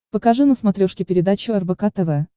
покажи на смотрешке передачу рбк тв